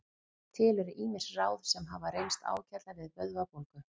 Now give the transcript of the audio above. Til eru ýmis ráð sem hafa reynst ágætlega við vöðvabólgu.